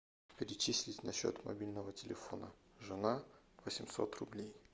перечислить на счет мобильного телефона жена восемьсот рублей